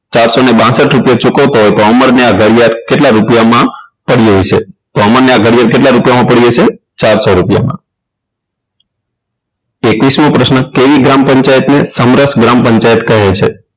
સાતસો ને બાસઠ રૂપિયા ચૂકવતા હોય તો અમરને આ ઘડિયાળ કેટલા રૂપિયામાં પડી હશે તો અમરને આ ઘડિયાળ કેટલા રૂપિયામાં પડી હશે તો ચારસો રૂપિયા એકવીસમો પ્રશ્ન ગ્રામપંચાયતને સમરસ ગ્રામ પંચાયત કહે છે